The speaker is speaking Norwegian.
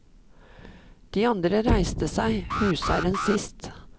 De andre reiste seg, husherren sist.